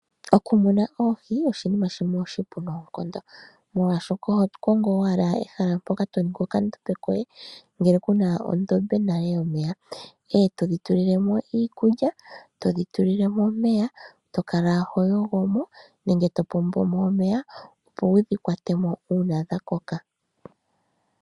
Okumuna Oohi oshinima shimwe oshipu noonkondo molwashoka oho kongo owala ehala mpoka to ningi okandombe koye ngele kuna ondombe nale yomeya. E todhi tuli lemo iikulya, todhi tuli lemo omeya to kala ho yogo mo nenge to pombo mo omeya opo wudhi kwate mo uuna dha koka.